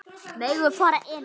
Megum við fara inn?